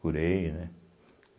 Curei, né?